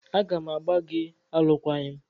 A ga m agbà gị alụkwaghịm!